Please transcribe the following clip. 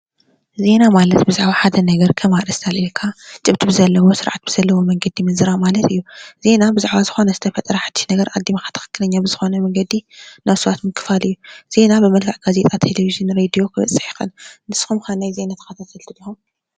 ዜና ማለት ብዝውሓደ ነገር ከም ኣርእስቲ ኣልዒልካ ጭብጢ ብዘለዎ ስርዓት ብዘለዎ መንገዲ ምዝራብ ማለት እዩ፡፡ ዜና ብዛዕባ ዝኾነ ዝተፈጥረ ሓዱሽ ነገር ኣቐዲምካ ትኽኽለኛ ብዝኾነ መንገዲ ናብ ሰባት ምክፋል እዩ፡፡ ዜና ብመልክዕ ጋዜጣ፣ ቴለቨዥን፡ ሬድዮ ከበፅሕ ይኽእል፡፡ ንስኹም ከ ናይ ዜና ተኸታተልቲ ዲኹም?